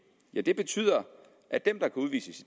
ja det betyder at dem der kan udvises i